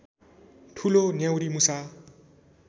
ठुलो न्याउरीमुसा